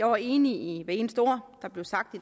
var enige i hvert eneste ord der blev sagt